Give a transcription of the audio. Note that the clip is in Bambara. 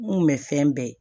N kun bɛ fɛn bɛɛ ye